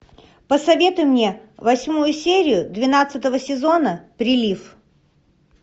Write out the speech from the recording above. посоветуй мне восьмую серию двенадцатого сезона прилив